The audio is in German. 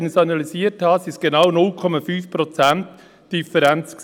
Und als ich es analysiert habe, waren es genau 0,5 Prozent Differenz.